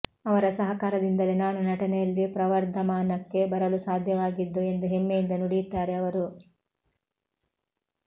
ಅವರ ಸಹಕಾರದಿಂದಲೇ ನಾನು ನಟನೆಯಲ್ಲಿ ಪ್ರವರ್ಧಮಾನಕ್ಕೆ ಬರಲು ಸಾಧ್ಯವಾಗಿದ್ದು ಎಂದು ಹೆಮ್ಮೆಯಿಂದ ನುಡಿಯುತ್ತಾರೆ ಅವರು